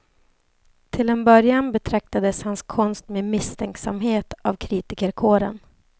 Till en början betraktades hans konst med misstänksamhet av kritikerkåren.